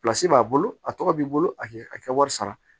b'a bolo a tɔgɔ b'i bolo a kɛ a kɛ wari sara